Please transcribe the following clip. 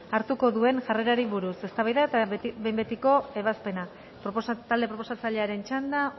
hartuko duen jarrerari buruz eztabaida eta behin betiko ebazpena talde proposatzailearen txanda